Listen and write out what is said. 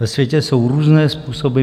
Ve světě jsou různé způsoby.